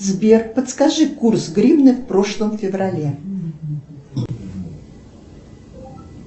сбер подскажи курс гривны в прошлом феврале